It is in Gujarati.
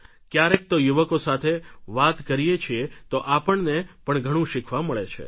ક્યારેક તો યુવકો સાથે વાત કરે છીએ તો આપણને પણ ઘણું શીખવા મળે છે